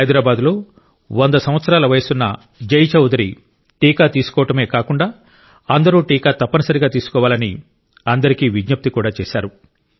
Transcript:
హైదరాబాద్లో 100 సంవత్సరాల వయసున్న జై చౌదరి టీకా తీసుకోవాడమే కాకుండా అందరూ టీకా తప్పనిసరిగా తీసుకోవాలని అందరికీ విజ్ఞప్తి కూడా చేశారు